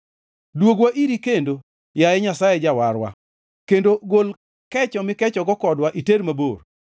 Dwogwa iri kendo, yaye Nyasaye Jawarwa, kendo gol kecho mikechogo kodwa iter mabor.